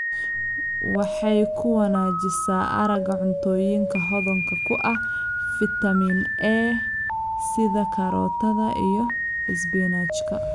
Waxay ku wanaajisaa aragga cuntooyinka hodanka ku ah fitamiin A sida karootada iyo isbinaajka.